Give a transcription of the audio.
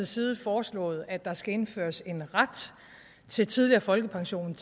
side foreslået at der skal indføres en ret til tidligere folkepension